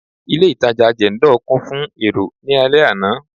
Ilé itàjà Jendol kún fún èrò ní alẹ àná.